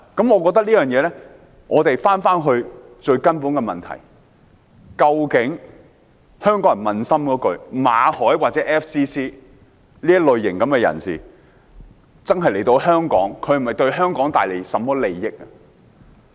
我們回到最根本的問題，香港人可撫心自問，馬凱或 FCC 的這類型人士來香港，究竟是否真的為香港帶來利益？